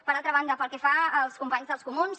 per altra banda pel que fa als companys dels comuns